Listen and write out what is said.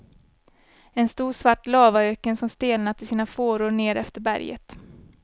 En stor svart lavaöken som stelnat i sina fåror ner efter berget.